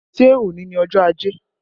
Ṣé òní ni ọjọ́ ajé?